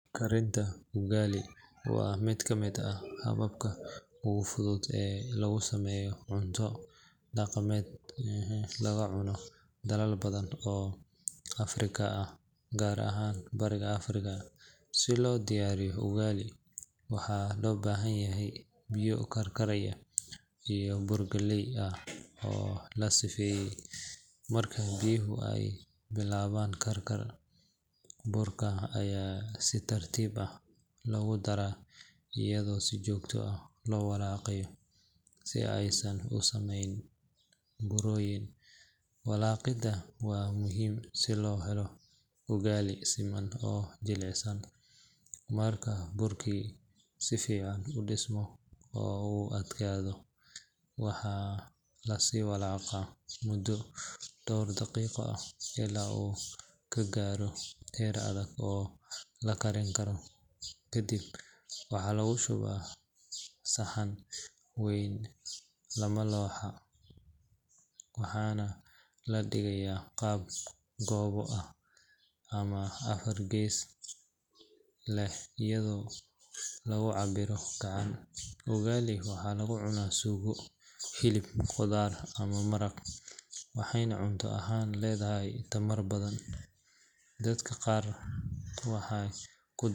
Karinta ugali waa mid ka mid ah hababka ugu fudud ee lagu sameeyo cunto dhaqameed laga cuno dalal badan oo Afrika ah, gaar ahaan Bariga Afrika. Si loo diyaariyo ugali, waxaa loo baahan yahay biyo karkaraya iyo bur galley ah oo la sifeeyey. Marka biyaha ay bilaabaan karkar, burka ayaa si tartiib ah loogu daraa iyadoo si joogto ah loo walaaqayo si aysan u samayn burooyin. Walaaqidda waa muhiim si loo helo ugali siman oo jilicsan. Marka burkii si fiican u dhismo oo uu adkaado, waxaa la sii walaaqaa muddo dhowr daqiiqo ah ilaa uu ka gaaro heer adag oo la karin karo. Kadib waxaa lagu shubaa saxan wayn ama looxa, waxaana laga dhigayaa qaab goobo ah ama afar gees leh iyadoo lagu cabbiro gacan. Ugali waxaa lagu cunaa suugo, hilib, khudaar ama maraq, waxayna cunto ahaan leedahay tamar badan. Dadka qaar waxay ku.